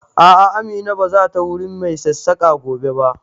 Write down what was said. A'a, Amina ba za ta wurin mai sassaƙa gobe ba.